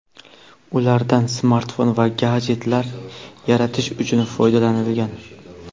ulardan smartfon va gadjetlar yaratish uchun foydalanilgan.